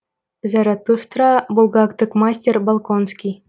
заратустра булгактік мастер болконский